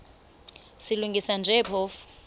silungisa nje phofu